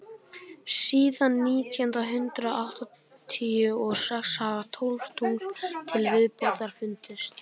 síðan nítján hundrað áttatíu og sex hafa tólf tungl til viðbótar fundist